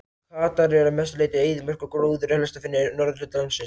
Katar er að mestu leyti eyðimörk og gróður er helst að finna í norðurhluta landsins.